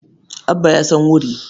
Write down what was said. Abba ya san wuri.